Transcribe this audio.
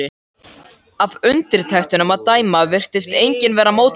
Af undirtektunum að dæma virtist enginn vera mótfallinn því.